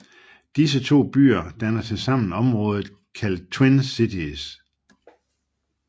Disse to byer danner sammen området kaldet Twin Cities